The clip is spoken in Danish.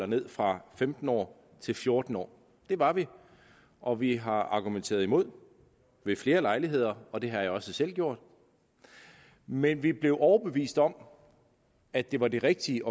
ned fra femten år til fjorten år det var vi og vi har argumenteret imod ved flere lejligheder og det har jeg også selv gjort men vi blev overbevist om at det var det rigtige